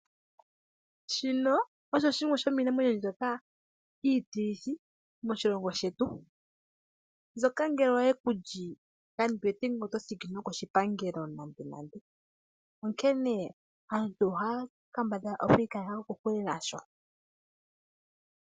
Shino osho shimwe shomiinamwenyo mbyoka iitilithi moshilongo shetu mbyoka ngele oyekuli kandi wete ngele otothiki nokoshipangelo nande nande. Onkene aantu ohaya kambadhala okwiikaleka kokule nasho.